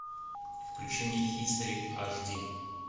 включи мне хистори аш ди